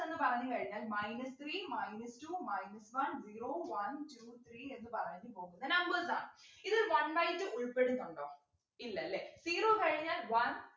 എന്ന് പറഞ്ഞുകഴിഞ്ഞാൽ minus three minus two minus one zero one two three എന്ന് പറഞ്ഞു പോകുന്ന numbers ആണ് ഇതിൽ one by two ഉൾപ്പെടുന്നുണ്ടോ ഇല്ലല്ലേ zero കഴിഞ്ഞാൽ one